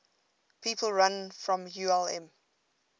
people from ulm